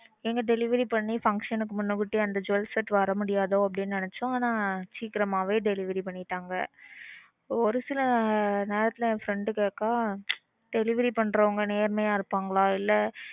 எங்க delivery பண்ணி function க்கு முன்னகூட்டியே அந்த jewels set வரமுடியாதோன்னு நினைச்சோம். ஆனா சீக்கிரமாவே delivery பண்ணிட்டாங்க. ஒரு சில நேரத்துல என் friend கேக்கா delivery பண்றவங்க நேர்மையா இருப்பாங்களா? இல்ல.